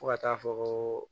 Fo ka taa fɔ ko